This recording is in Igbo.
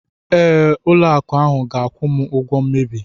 Ee, ụlọ akụ ahu ga-akwụ m ụgwọ mmebi.